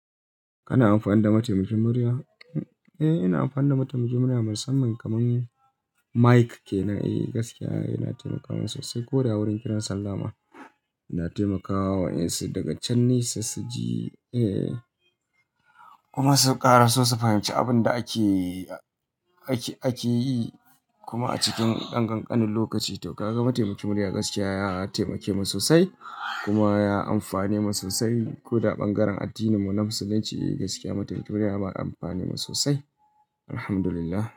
Kana amfani da mataimakin murya? Eh, ina amfani da mataimakin murya, musamman kamar, mic ke. Na, eh gaskiya yana taimakawa sosai. Koda wurin kiran sallama, yana taimakawa wa 'yan su daga can, ne sa ji, kuma su ƙara so su fahimci abin da ake, ake, ake yi kuma a cikin ɗan ƙanƙanin lokaci. To kaga mataimakin murya gaskiya ya taimake mu sosai, kuma ya amfane mu sosai. Koda ɓangaren addininmu na Musulunci, gaskiya mataimakin murya ya ba mu amfani sosai. Alhamdulillah.